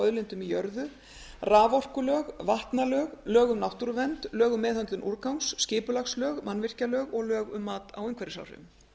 auðlindum í jörðu raforkulög vatnalög lög um náttúruvernd lög um meðhöndlun úrgangs skipulagslög mannvirkjalög og lög um mat á umhverfisáhrifum